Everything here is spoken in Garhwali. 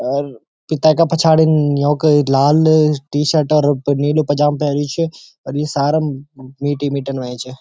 और पिता का पिछाड़ी योंकी लाल टी शर्ट और प-नीलू पजामा पेर्युं छ और ये सारा मीटी मीटन हुयां छ।